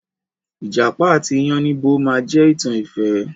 Ìjàpá àti iyánníbo máa je ìtàn ìfẹ́.